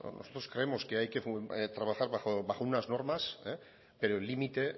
nosotros creemos que hay que trabajar bajo unas normas pero el límite